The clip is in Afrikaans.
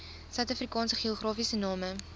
suidafrikaanse geografiese name